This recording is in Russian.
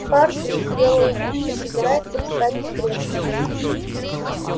хардин сделал вид что собирается встать с кресла